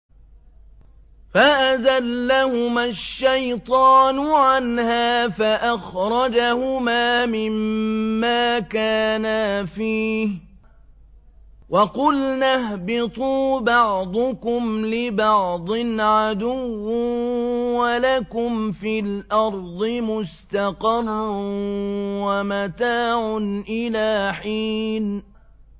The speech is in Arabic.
فَأَزَلَّهُمَا الشَّيْطَانُ عَنْهَا فَأَخْرَجَهُمَا مِمَّا كَانَا فِيهِ ۖ وَقُلْنَا اهْبِطُوا بَعْضُكُمْ لِبَعْضٍ عَدُوٌّ ۖ وَلَكُمْ فِي الْأَرْضِ مُسْتَقَرٌّ وَمَتَاعٌ إِلَىٰ حِينٍ